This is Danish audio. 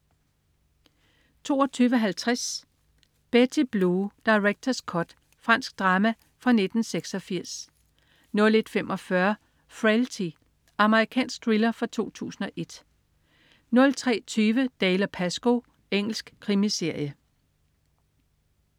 22.50 Betty Blue. Director's cut. Fransk drama fra 1986 01.45 Frailty. Amerikansk thriller fra 2001 03.20 Dalziel & Pascoe. Engelsk krimiserie